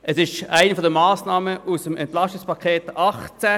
Es ist eine der Massnahmen aus dem Entlastungspaket 2018 (EP 18).